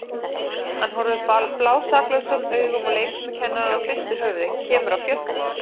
Hann horfir blásaklausum augum á leikfimikennarann og hristir höfuðið, kemur af fjöllum.